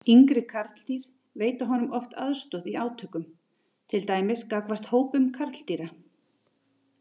Yngri karldýr veita honum oft aðstoð í átökum, til dæmis gagnvart hópum karldýra.